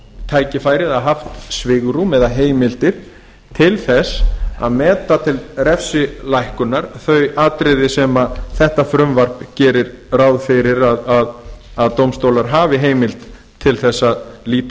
tækifæri eða haft svigrúm eða heimildir til að meta til refsilækkunar þau atriði sem þetta frumvarp gerir ráð fyrir að dómstólar hafi heimild til að líta